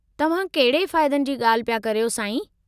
तव्हां कहिड़े फ़ाइदनि जी ॻाल्हि पिया करियो, साईं?